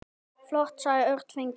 Flott sagði Örn feginn.